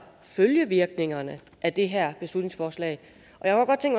følgevirkningerne af det her beslutningsforslag